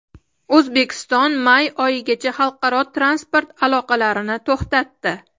O‘zbekiston may oyigacha xalqaro transport aloqalarini to‘xtatdi.